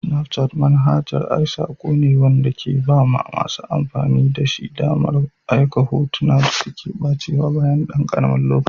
Snapchat manhajar ai sako ne wanda ke ba masu amfani damar aika hotuna da suke ɓacewa bayan ɗan gajeren lokaci.